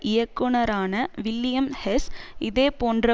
இயக்குனரான William Hess இதே போன்ற